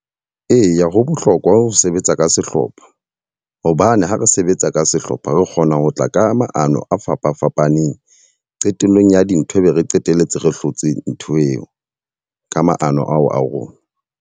Eya ho bohlokwa ho sebetsa ka sehlopha. Hobane ha re sebetsa ka sehlopha, re kgonang ho tla ka maano a fapa fapaneng. Qetellong ya dintho ebe re qeteletse, re hlotse ntho eo ka maano ao a rona.